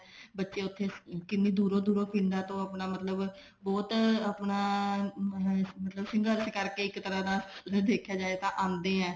ਬੱਚੇ ਉੱਥੇ ਕਿੰਨੀ ਦੂਰੋਂ ਦੂਰੋਂ ਪਿੰਡਾਂ ਤੋਂ ਆਪਣਾ ਮਤਲਬ ਬਹੁਤ ਆਪਣਾ ਸੰਘਰਸ਼ ਕਰਕੇ ਇੱਕ ਤਰ੍ਹਾਂ ਦਾ ਜੇ ਦੇਖਿਆ ਜਾਵੇ ਤਾਂ ਆਉਂਦੇ ਆ